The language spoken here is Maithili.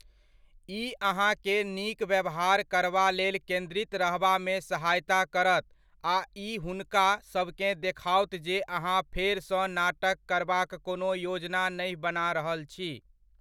ई अहाँकेँ नीक व्यवहार करबा लेल केन्द्रित रहबामे सहायता करत आ ई हुनका सभकेँ देखाओत जे अहाँ फेरसँ नाटक करबाक कोनो योजना नहि बना रहल छी।